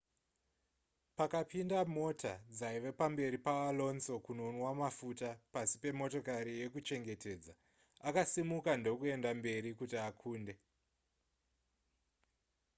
pakapinda mota dzaiva pamberi paalonso kunonwa mafuta pasi pemotokari yekuchengetedza akasimuka ndokuenda mberi kuti akunde